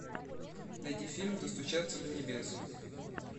найди фильм достучаться до небес